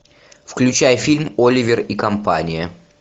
включай фильм оливер и компания